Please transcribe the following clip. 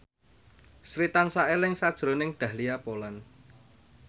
Sri tansah eling sakjroning Dahlia Poland